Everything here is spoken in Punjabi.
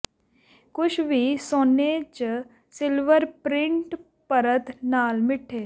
ਕੁਝ ਵੀ ਸੋਨੇ ਜ ਸਿਲਵਰ ਪ੍ਰਿੰਟ ਪਰਤ ਨਾਲ ਮਿੱਠੇ